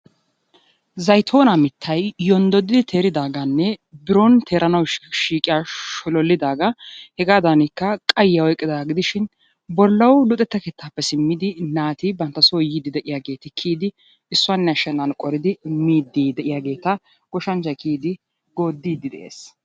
Zayttonaa mittay yonddoddidi teeridaaggaanne biron teeranawu shiiqqiya sholloliidagaa hegaadankka qayyiya oyqqidaaga gidishin bollawu luxetta keettaappe simmidi naati banttaso yiidi de'iyageeti kiyidi issuwanne ashenaan qoridi miidi de'iyaageeta goshshanchchay kiyidi goodidi de'ees.